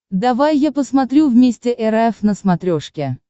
давай я посмотрю вместе эр эф на смотрешке